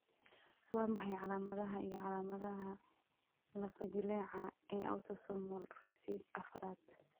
Waa maxay calamadaha iyo calaamadaha lafo-jileeca ee autosomal recessive afraad?